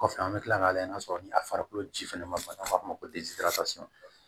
Kɔfɛ an bɛ kila ka layɛ n'a sɔrɔ ni a farikolo ji fɛnɛ ma ban u b'a f'a ma ko